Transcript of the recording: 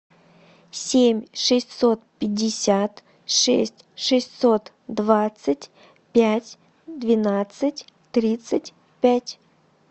семь шестьсот пятьдесят шесть шестьсот двадцать пять двенадцать тридцать пять